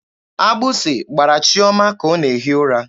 Agbụsị gbara Chiọma ka ọ na-ehi ụra.